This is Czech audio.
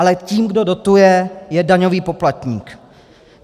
Ale tím, kdo dotuje, je daňový poplatník.